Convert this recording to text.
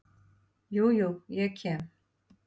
Jú, jú, ég kem.